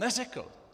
Neřekl!